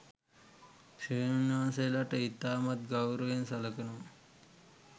ස්වාමින්වහන්සේලට ඉතාමත් ගෞරවයෙන් සලකනවා.